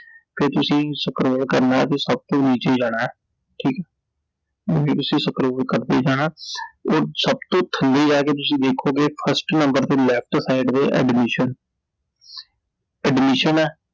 ਫੇਰ ਤੁਸੀਂ scroll ਕਰਨਾ ਤੇ ਸਭ ਤੋਂ ਨੀਚੇ ਜਾਣੈ I ਠੀਕ ਐ I ਐਵੇਂ ਤੁਸੀਂ scroll ਕਰਦੇ ਜਾਣੈ, ਉਹ ਸਭ ਤੋਂ ਥੱਲੇ ਜਾਕੇ ਤੁਸੀਂ ਵੇਖੋਗੇ first number ਤੇ left ਸੈਡ ਦੇ Admission admission ਐ